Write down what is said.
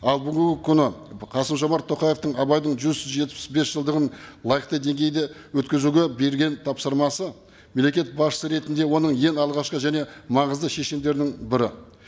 ал бүгінгі күні қасым жомарт тоқаевтың абайдың жүз жетпіс бес жылдығын лайықты деңгейде өткізуге берген тапсырмасы мемлекет басшысы ретінде оның ең алғашқы және маңызды шешімдерінің бірі